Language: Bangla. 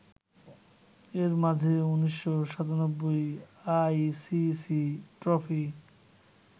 এর মাঝে ১৯৯৭ আইসিসি ট্রফি